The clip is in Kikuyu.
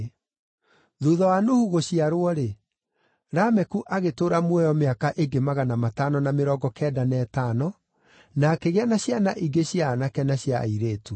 Thuutha wa Nuhu gũciarwo-rĩ, Lameku agĩtũũra muoyo mĩaka ĩngĩ magana matano na mĩrongo kenda na ĩtano, na akĩgĩa na ciana ingĩ cia aanake na cia airĩtu.